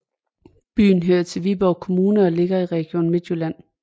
Byen hører til Viborg Kommune og ligger i Region Midtjylland